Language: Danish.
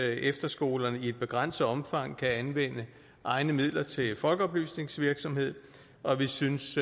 efterskolerne i begrænset omfang kan anvende egne midler til folkeoplysningsvirksomhed og vi synes